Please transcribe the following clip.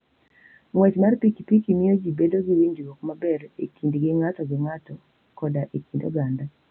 Ng'wech mar pikipiki miyo ji bedo gi winjruok maber e kindgi ng'ato gi ng'ato koda e kind oganda.